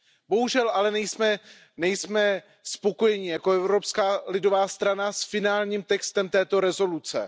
Bohužel ale nejsme spokojeni jako Evropská lidová strana s finálním textem této rezoluce.